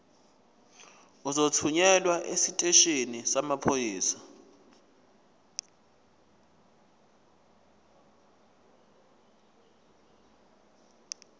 uzothunyelwa esiteshini samaphoyisa